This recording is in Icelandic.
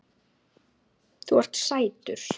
Þú ert sætur!